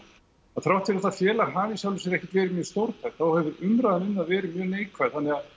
að þrátt fyrir að það félag hafi í sjálfu sér ekkert verið mjög stórtækt þá hefur umræðan um það verið mjög neikvæð þannig